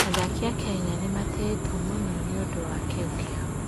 Athaki a Kenya nĩ matĩĩtwo mũno nĩ ũndũ wa kĩyo kĩao.